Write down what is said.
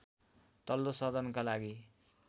तल्लो सदनका लागि